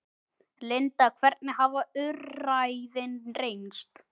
Linda, hvernig hafa úrræðin reynst?